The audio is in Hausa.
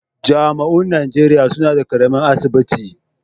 Jami'oin Najeriya suna da ƙaramin asibiti.